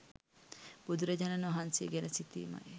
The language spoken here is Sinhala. බුදුරජාණන් වහන්සේ ගැන සිතීමයි.